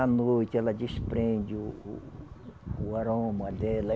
A noite, ela desprende o o o aroma dela.